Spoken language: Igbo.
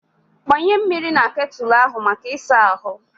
Gbanye mmiri na ketụlụ ahụ maka ịsa ahụ.